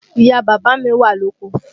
Ìyá bàbá mi wà lóko